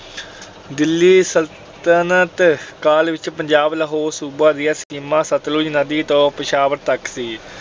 ਦਿੱਲੀ ਸਲਤਨਤ ਕਾਲ ਵਿੱਚ ਪੰਜਾਬ ਲਾਹੌਰ ਸੂਬਾ ਦੀ ਸੀਮਾ ਸਤਲੁਜ ਨਦੀ ਤੋਂ ਪੇਸ਼ਾਵਰ ਤੱਕ ਸੀ।